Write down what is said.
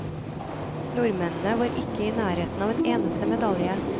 Nordmennene var ikke i nærheten av en eneste medalje.